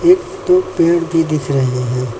एक दो पेड़ भी दिख रहे हैं।